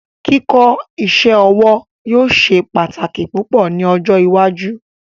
Kíkọ iṣẹ-ọwọ yóò ṣẹ̀ pátákì pupọ ni ọjọ́ ìwájú